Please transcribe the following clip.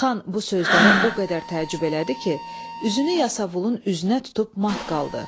Xan bu sözləri o qədər təəccüb elədi ki, üzünü yasavulun üzünə tutub mat qaldı.